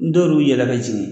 N'dɔlu yɛlɛla ki sigi.